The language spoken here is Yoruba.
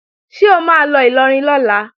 Ṣé o máa lọ Ìlọrin lọ́la?